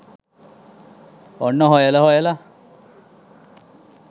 ඔන්න හොයල හොයලා